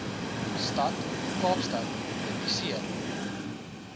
stad kaapstad publiseer